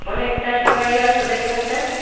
অনেকটা সুপারি গাছও দেখা যায়।